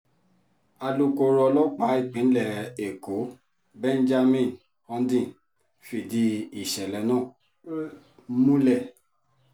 alukóró ọlọ́pàá ìpínlẹ̀ èkó benjamin hondyin fìdí ìṣẹ̀lẹ̀ náà múlẹ̀